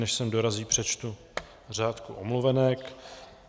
Než sem dorazí, přečtu řádku omluvenek.